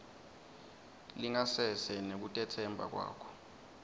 lingasese nekutetsemba kwakho